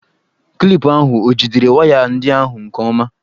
Klipụ ahụ o jidere waya ndị ahụ nke ọma?